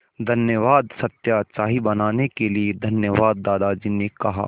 धन्यवाद सत्या चाय बनाने के लिए धन्यवाद दादाजी ने कहा